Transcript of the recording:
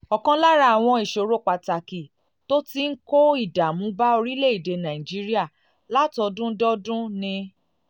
ọ̀kan lára àwọn ìṣòro pàtàkì tó ti ń kó ìdààmú bá orílẹ̀-èdè nàìjíríà látọdún dé ọdún um ni